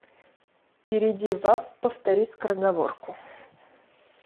перейди в апп повтори скороговорку